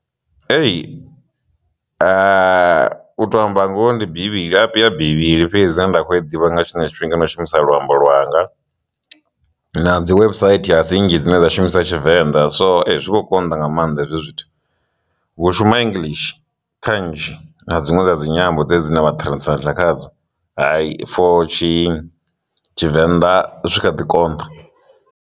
Ee, u to amba ngoho ndi bivhili, bivhili fhedzi dzine nda kho i ḓivha nga tshiṅwe tshifhinga na u shumisa luambo lwanga, na dzi website a si nnzhii dzine dza shumisa tshivenḓa so zwi khou konḓa nga maanḓa hezwo zwithu. Hu shuma english kha nzhi na dzinwe dza dzinyambo dzine vha translator khadzo for tshivenḓa zwi kha ḓi konḓa.